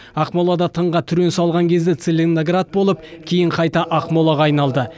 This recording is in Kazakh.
ақмолада тыңға түрен салған кезде целиноград болып кейін қайта ақмолаға айналды